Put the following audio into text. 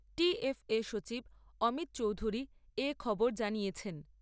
TFA সচিব অমিত চৌধুরী এ খবর জানিয়েছেন।